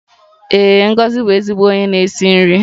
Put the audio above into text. Ee, Ngozi bụ ezigbo onye na-esi nri